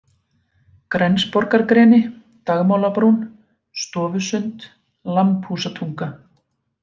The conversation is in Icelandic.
Grensborgargreni, Dagmálabrún, Stofusund, Lambhúsatunga